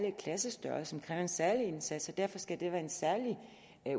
at klassestørrelsen kræver en særlig indsats og derfor skal det være en særlig